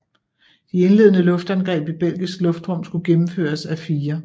De indledende luftangreb i belgisk luftrum skulle gennemføres af IV